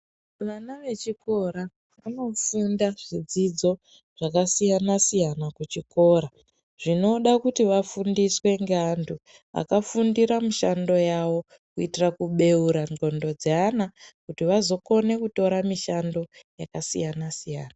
Vana vechikora vanofunda zvidzidzo zvakasiyana siyana kuchikora zvinoda kuti vafundiswe nevantu vakafundira mishando yawo kuitIra kubeura ngonxo dzeana kuti vazokona kutora mishando yakasiyana siyana.